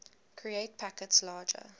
create packets larger